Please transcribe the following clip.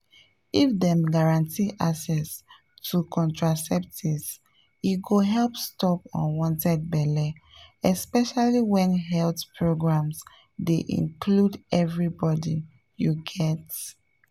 if dem guarantee access to contraceptives e go help stop unwanted belle especially when health programs dey include everybody you get?